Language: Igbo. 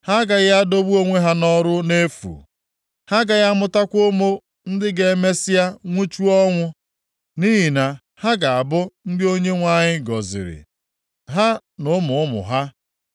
Ha agaghị adọgbu onwe ha nʼọrụ nʼefu. Ha agaghị amụtakwa ụmụ ndị ga-emesịa nwụchuo ọnwụ. Nʼihi na ha ga-abụ ndị Onyenwe anyị gọziri, ha na ụmụ ụmụ ha.